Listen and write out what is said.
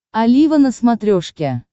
олива на смотрешке